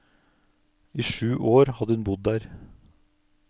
I sju år hadde hun bodd her.